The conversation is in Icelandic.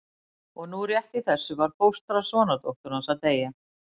Og nú rétt í þessu var fóstra sonardóttur hans að deyja.